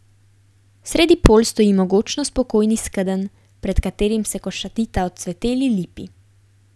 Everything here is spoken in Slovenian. Sredi polj stoji mogočno spokojni skedenj, pred katerim se košatita odcveteli lipi.